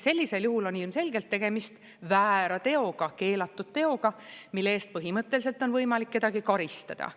Sellisel juhul on ilmselgelt tegemist väära teoga, keelatud teoga, mille eest põhimõtteliselt on võimalik kedagi karistada.